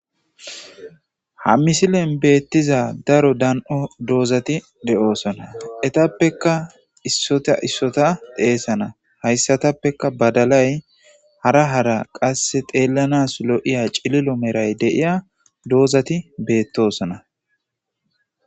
Ha missilen bethizay daro dandhdho dozzathi deo'ssonna. Etapekka issotha issotha xesanna hayssathepeka badalay hara hara qasseka xelanas cilillo meray de'yya dozzathi bethossona.